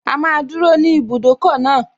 A máa dúró ní ibùdókọ̀ náà